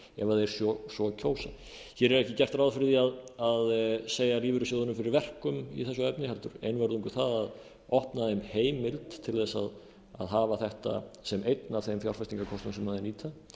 ef þeir svo kjósa hér er ekki gert ráð fyrir því að segja lífeyrissjóðunum fyrir verkum í þessu efni heldur einvörðungu það að opna þeim heimild til að hafa þetta sem einn af þeim fjárfestingarkostum sem þeir nýta